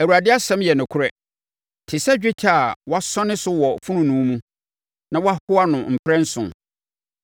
Awurade asɛm yɛ nokorɛ te sɛ dwetɛ a wɔasɔne so wɔ fononoo mu, na wɔahoa ho mprɛnson.